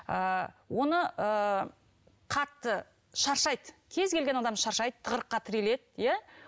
ыыы оны ы қатты шаршайды кез келген адам шаршайды тығырыққа тіреледі иә